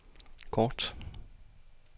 kort